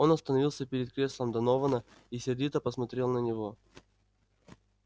он остановился перед креслом донована и сердито посмотрел на него